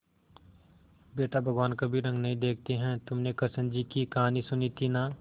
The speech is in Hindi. बेटा भगवान कभी रंग नहीं देखते हैं तुमने कृष्ण जी की कहानी सुनी थी ना